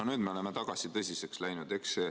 No nüüd me oleme tagasi tõsiseks läinud.